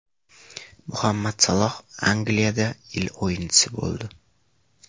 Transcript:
Muhammad Saloh Angliyada yil o‘yinchisi bo‘ldi.